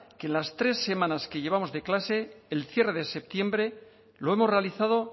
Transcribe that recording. que en las tres semanas que llevamos de clase el cierre de septiembre lo hemos realizado